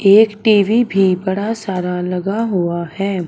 एक टी_वी भी बड़ा सारा लगा हुआ है।